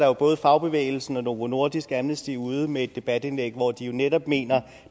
er både fagbevægelsen og novo nordisk og amnesty ude med et debatindlæg hvor de jo netop mener at